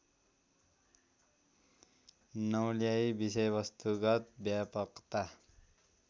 नौल्याई विषयवस्तुगत व्यापकता